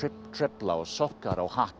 trefla og sokka og hatt